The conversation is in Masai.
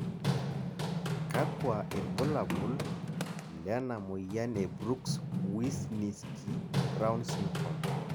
kakua irbulabol lena moyian e Brooks Wisniewski Brown syndrome?